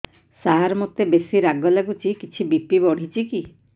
ସାର ମୋତେ ବେସି ରାଗ ଲାଗୁଚି କିଛି ବି.ପି ବଢ଼ିଚି କି